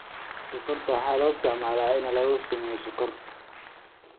Sonkorta waxaa loo isticmaalaa in lagu sameeyo sonkor.